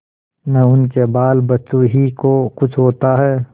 न उनके बालबच्चों ही को कुछ होता है